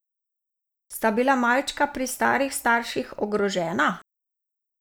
Sta bila malčka pri starih starših ogrožena?